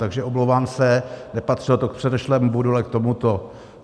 Takže omlouvám se, nepatřilo to k předešlému bodu, ale k tomuto.